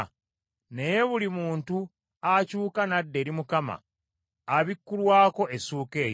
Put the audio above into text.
Naye buli muntu akyuka n’adda eri Mukama, abikkulwako essuuka eyo.